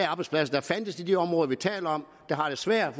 arbejdspladser der fandtes i de områder vi taler om der har det svært